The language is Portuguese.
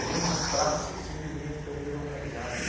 praças simplesmente perderam a paisagem.